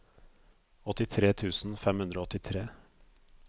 åttitre tusen fem hundre og åttitre